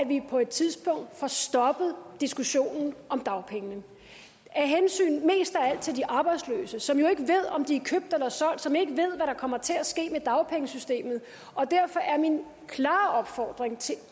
vi på et tidspunkt får stoppet diskussionen om dagpengene mest af alt til de arbejdsløse som jo ikke ved om de er købt eller solgt som ikke ved hvad der kommer til at ske med dagpengesystemet derfor er min klare opfordring til